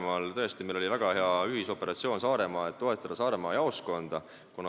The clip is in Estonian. Meil oli tõesti väga hea ühisoperatsioon Saaremaal, et toetada Saaremaa jaoskonda.